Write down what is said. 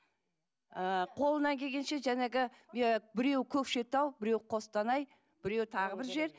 ы қолымнан келгенше жаңағы ы біреуі көкшетау біреуі қостанай біреуі тағы бір жер